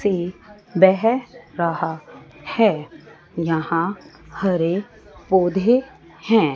से बेह रहा हैं यहां हरे पौधे हैं।